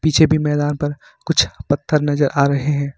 पीछे भी मैदान पर कुछ पत्थर नजर आ रहे हैं।